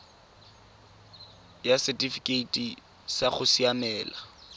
ya setifikeite sa go siamela